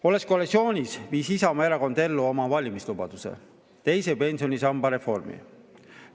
Olles koalitsioonis, viis Isamaa Erakond ellu oma valimislubaduse, teise pensionisamba reformi.